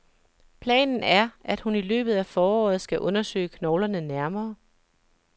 Planen er, at hun i løbet af foråret skal undersøge knoglerne nærmere.